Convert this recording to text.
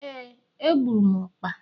Éè, egburu m ọkpa